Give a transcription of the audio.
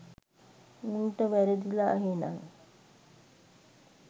උන්ට වැරදිලා එහෙනන්